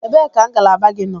Ebee ka ngalaba gị nọ?